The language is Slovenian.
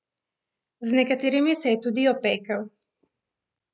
Z nekaterimi se je tudi opekel.